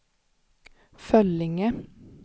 Föllinge